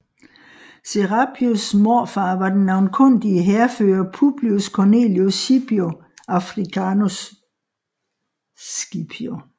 Serapios morfar var den navnkundige hærfører Publius Cornelius Scipio Africanus